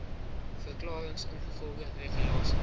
verklarings ingevolge regulasie